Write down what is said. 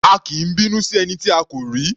A kì í bínú sí ẹni tí a kò rí.